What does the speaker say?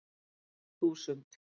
þúsund